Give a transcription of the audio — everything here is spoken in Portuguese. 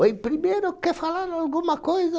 Oi, primeiro, quer falar alguma coisa?